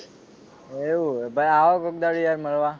એવું હે ભાઈ આવો કોક દહાડો યાર મળવા